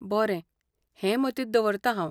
बरें. हें मतींत दवरतां हांव.